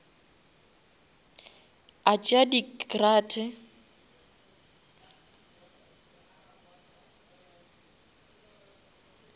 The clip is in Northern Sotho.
a tšea di crate